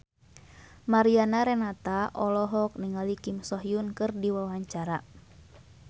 Mariana Renata olohok ningali Kim So Hyun keur diwawancara